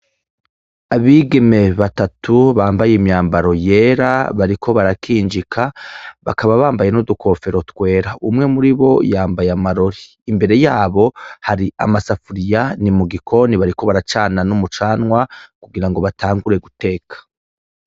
Abigeme batatu bambaye imyambaro yera bariko barakinjika bakaba bambaye n'udukofero twera umwe muri bo yambaye amarori imbere yabo hari amasafuriya ni mu gikoni bariko baracana n'umucanwa kugira ngo batangure guteka.